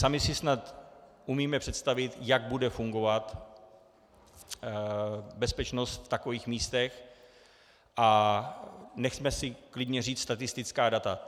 Sami si snad umíme představit, jak bude fungovat bezpečnost v takových místech, a nechme si klidně říct statistická data.